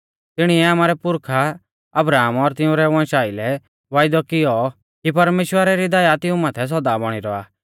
तिणीऐ आमारै पुरखा अब्राहम और तिंउरै वंशा आइलै वायदौ कियौ कि परमेश्‍वरा री दया तिऊं माथै सौदा बौणी रौआ